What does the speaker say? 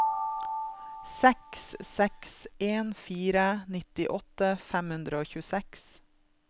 seks seks en fire nittiåtte fem hundre og tjueseks